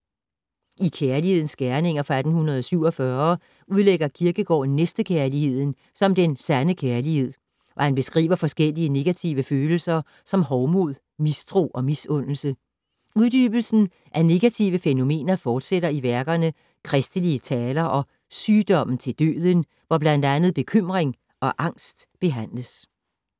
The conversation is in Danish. I Kjerlighedens Gjerninger fra 1847 udlægger Kierkegaard næstekærligheden som den sande kærlighed og han beskriver forskellige negative følelser som hovmod, mistro og misundelse. Uddybelsen af negative fænomener fortsætter i værkerne Christelige Taler og Sygdommen til Døden, hvor blandt andet bekymring og angst behandles.